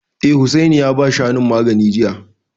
Eh, Hussaini ya ba Shanun magani jiya